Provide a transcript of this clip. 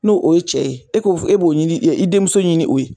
N'o o ye cɛ ye e ko e b'o ɲini i denmuso ɲini o ye.